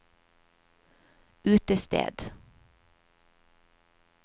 utested